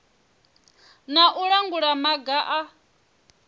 na u langula maga a